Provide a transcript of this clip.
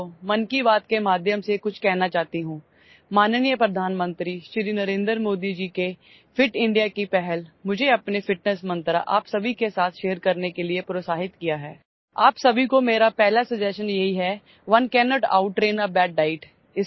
नमस्कारमैं अपने देशवासियों को मन की बातके माध्यम से कुछ कहना चाहती हूं माननीय प्रधानमंत्री श्री नरेन्द्र मोदी जी के ફિટ ઇન્ડિયા की पहल मुझे अपने ફિટનેસ मंत्र आप सभी के साथ શેર करने के लिए प्रोत्साहित किया है आप सभी को मेरा पहला સજેશન यही है one cannot out train a bad diet